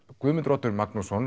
Guðmundur Oddur Magnússon